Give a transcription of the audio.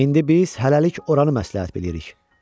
İndi biz hələlik oranı məsləhət bilirik.